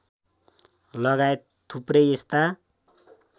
लगायत थुप्रै यस्ता